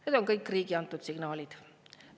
Need on kõik riigi antud signaalid.